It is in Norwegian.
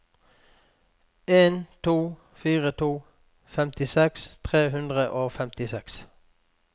en to fire to femtiseks tre hundre og femtiseks